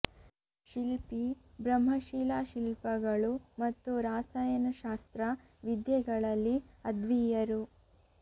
ಶಿಲ್ಪಿ ಬ್ರಹ್ಮ ಶಿಲಾ ಶಿಲ್ಪಗಳು ಮತ್ತು ರಾಸಯನ ಶಾಸ್ತ್ರ ವಿದ್ಯೆಗಳಲ್ಲಿ ಅದ್ವೀಯರು